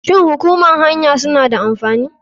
Shin hukumar kan hanya suna da amfani?